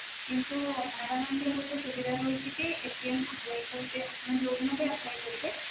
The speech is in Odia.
କିନ୍ତୁ ParaBank ରେ ଗୋଟେ ସୁବିଧା ରହୁଛି କି apply କରିବେ ଆପଣ ଯୋଉ ଦିନ ବି apply କରିବେ